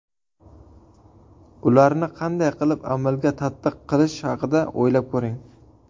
Ularni qanday qilib amalda tatbiq qilish haqida o‘ylab ko‘ring.